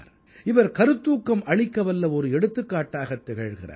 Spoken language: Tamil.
இவர் கருத்தூக்கம் அளிக்கவல்ல ஒரு எடுத்துக்காட்டாகத் திகழ்கிறார்